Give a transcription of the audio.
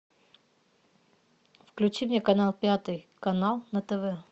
включи мне канал пятый канал на тв